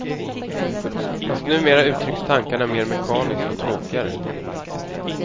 Fast numera uttrycks tankarna mer mekaniskt och tråkigare.